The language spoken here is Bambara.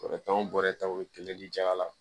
Bɔrɛ tan wo bɔrɛ tanw kɛlen ya la